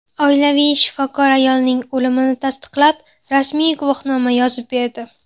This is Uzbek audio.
Oilaviy shifokor ayolning o‘limini tasdiqlab, rasmiy guvohnoma yozib berdi.